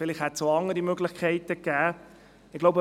Vielleicht hätte es auch andere Möglichkeiten gegeben.